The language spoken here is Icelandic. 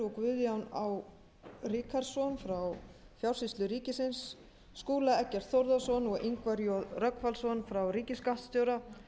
og guðjón á ríkharðsson frá fjársýslu ríkisins skúla eggert þórðarson og ingvar j rögnvaldsson frá ríkisskattstjóra